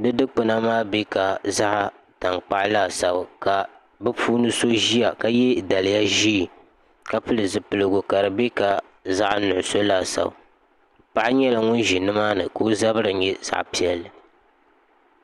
di sikpuna maa bɛ ka zaɣ tankpaɣu laasabu ka bi puuni so ʒiya ka yɛ daliya ʒiɛ ka pili zipiligu ka di nyɛ ka zaɣ nuɣso laasabu paɣa nyɛla ŋun ʒi nimaani ka o zabiri nyɛ zaɣ piɛlli